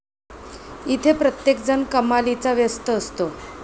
इथे प्रत्येकजण कमालीचा व्यस्त असतो.